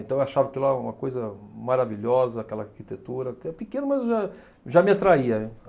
Então eu achava que lá era uma coisa maravilhosa, aquela arquitetura, pequeno, mas já já me atraía, né.